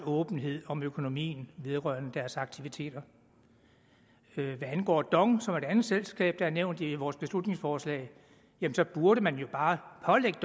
åbenhed om økonomien vedrørende deres aktiviteter hvad angår dong som er et andet selskab der er nævnt i vores beslutningsforslag burde man jo bare pålægge